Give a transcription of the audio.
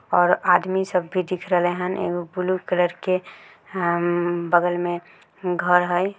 और आदमी सब भी दिख रहले हैन एगो ब्लू कलर के हममम बगल में घर हई।